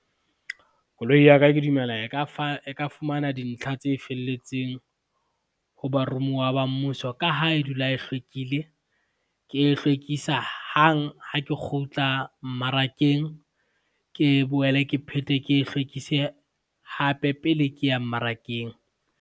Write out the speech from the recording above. Koloi ya ka, ke dumela e ka fumana dintlha tse felletseng, ho baromuwa ba mmuso ka ha e dula e hlwekile. Ke e hlwekisa hang ha ke kgutla mmarakeng, ke boele ke phete ke e hlwekise hape pele ke ya mmarakeng.